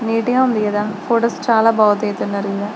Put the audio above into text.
Media ఉంది కదా photos చాల బాగా దిగుతున్నారు.